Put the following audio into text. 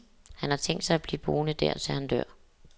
Han har tænkt sig at blive boende der, til han dør.